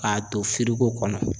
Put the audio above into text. K'a to kɔnɔ.